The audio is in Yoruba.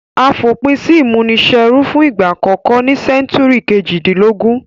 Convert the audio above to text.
A fòpin si ìmúniserú fun ìgbà àkókó ní century kejìdínlógún